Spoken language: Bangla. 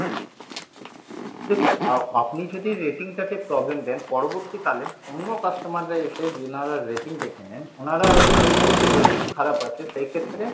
দেখুন আ~আপনি যদি রেটিং টা তে problem দেন পরবর্তীকালে অন্য customer এর এসে rating দেখে নেন উনারা দেখবেন যে rating খারাপ আছে সেই ক্ষেত্রে